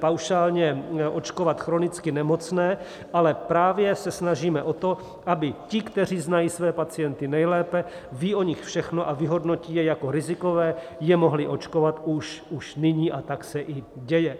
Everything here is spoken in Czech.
paušálně očkovat chronicky nemocné, ale právě se snažíme o to, aby ti, kteří znají své pacienty nejlépe, ví o nich všechno a vyhodnotí je jako rizikové, je mohli očkovat už nyní - a tak se i děje.